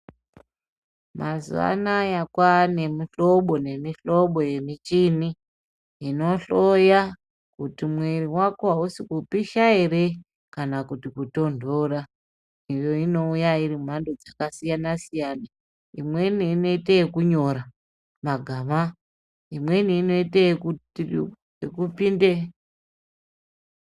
Mazuva anaya kwane mi hlobo ne mi hlobo ye muchini ino hloya kuti mwiri wako awusi kupisha ere kana kuti ku tondora iyo ino uya iri mu mhando dzaka siyana siyana imweni ino ite yeku nyora magaba imweni ino ite yeku pinde.